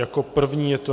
Jako první je to